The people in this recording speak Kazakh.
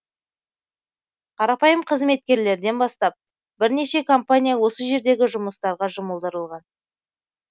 қарапайым қызметкерлерден бастап бірнеше компания осы жердегі жұмыстарға жұмылдырылған